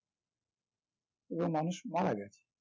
এবং মানুষ মারা গেছে